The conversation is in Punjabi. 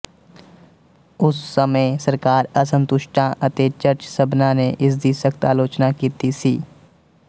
ਉਸ ਸਮੇਂ ਸਰਕਾਰ ਅਸੰਤੁਸ਼ਟਾਂ ਅਤੇ ਚਰਚ ਸਭਨਾਂ ਨੇ ਇਸਦੀ ਸਖ਼ਤ ਆਲੋਚਨਾ ਕੀਤੀ ਸੀ